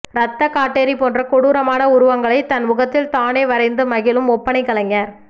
ரத்த காட்டேரி போன்ற கொடூரமான உருவங்களைத் தன் முகத்தில் தானே வரைந்து மகிழும் ஒப்பனைக் கலைஞர்